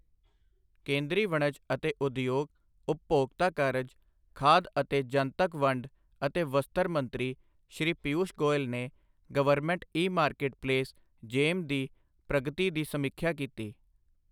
ਕੇਂਦਰੀ ਵਣਜ ਅਤੇ ਉਦਯੋਗ, ਉਪਭੋਗਤਾ ਕਾਰਜ, ਖਾਦ ਅਤੇ ਜਨਤਕ ਵੰਡ ਅਤੇ ਵਸਤਰ ਮੰਤਰੀ ਸ਼੍ਰੀ ਪੀਊਸ਼ ਗੋਇਲ ਨੇ ਗਵਰਨਮੈਂਟ ਈ ਮਾਰਕਟਪਲੇਸ ਜੇਮ ਦੀ ਪ੍ਰਗਤੀ ਦੀ ਸਮੀਖਿਆ ਕੀਤੀ।